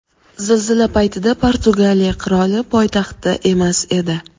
Zilzila paytida Portugaliya qiroli poytaxtda emas edi.